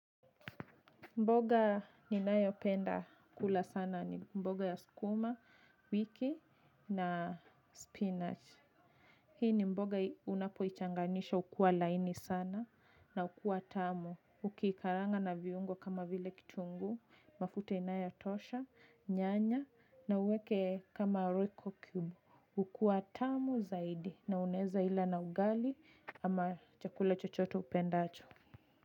Mboga ninayopenda kula sana ni mboga ya sukuma wiki na spinach. Hii ni mboga unapoichanganisha hukuwa laini sana na hukuwa tamu. Ukiikaranga na viungo kama vile kitunguu, mafuta inayotosha, nyanya na uweke kama royco cube. Hukua tamu zaidi na unaweza ila na ugali ama chakula chochote upendacho.